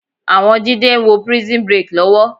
Àwọn Jídé ń wo Prison Break lọ́wọ́